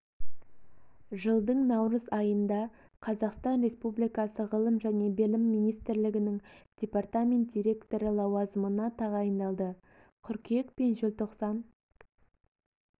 жылдың наурыз айында қазақстан республикасы ғылым және білім министрлігінің департамент директоры лауазымына тағайындалды қыркүйек пен желтоқсан